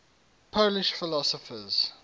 polish philosophers